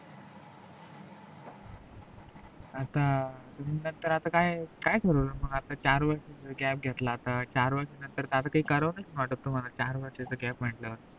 आता तुम्ही आता नंतर काय ठरवल मग आता चार वर्षाच gap घेतल आता चार वर्षा नंतर काही करावस वाटत नाही तुम्हाला चार वारशाच gap म्हटल्यावर